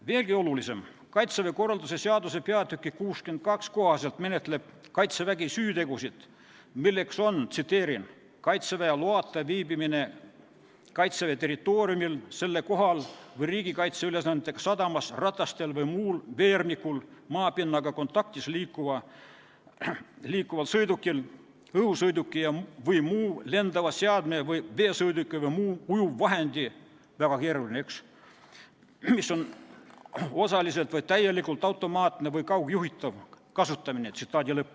Veelgi olulisem, Kaitseväe korralduse seaduse § 562 kohaselt menetleb Kaitsevägi süütegusid, milleks on Kaitseväe loata Kaitseväe territooriumil, selle kohal või riigikaitse ülesannetega sadamas ratastel või muul veermikul maapinnaga kontaktis liikuva sõiduki, õhusõiduki või muu lendava seadme või veesõiduki või muu ujuvvahendi , mis on osaliselt või täielikult automaatne või kaugjuhitav, kasutamine.